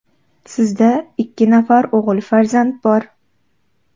Sizda ikki nafar o‘g‘il farzand bor.